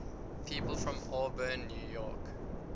people from auburn new york